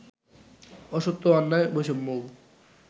অসত্য অন্যায় বৈষম্যও